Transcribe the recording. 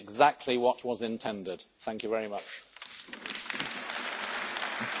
Possiamo passare ora alla votazione a scrutinio segreto.